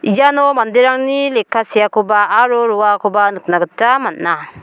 iano manderangni lekka seakoba aro roakoba nikna gita man·a.